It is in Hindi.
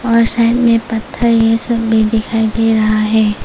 और साइड में पत्थर ये सब भी दिखाई दे रहा है।